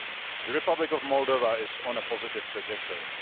The Republic of Moldova is on a positive trajectory.